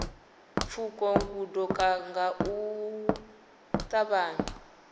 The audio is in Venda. pfuka gondo nga u ṱavhanya